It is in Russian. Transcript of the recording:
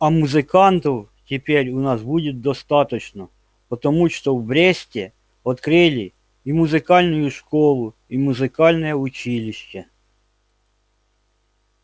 а музыкантов теперь у нас будет достаточно потому что в бресте открыли и музыкальную школу и музыкальное училище